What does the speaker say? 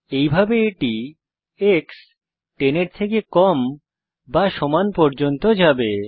এইভাবে এটি এক্স 10 এর থেকে কম বা সমান পর্যন্ত যাবে